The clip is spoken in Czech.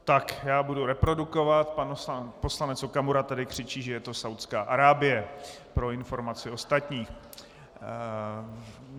Tak já budu reprodukovat - pan poslanec Okamura tady křičí, že je to Saúdská Arábie, pro informaci ostatním.